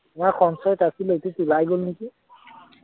আমাৰ সঞ্চয়ত আছিলে এইটোত ওলায় গল নেকি